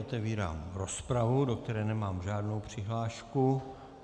Otevírám rozpravu, do které nemám žádnou přihlášku.